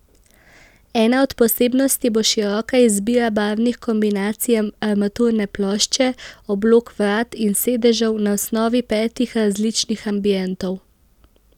Ena od posebnosti bo široka izbira barvnih kombinacij armaturne plošče, oblog vrat in sedežev na osnovi petih različnih ambientov.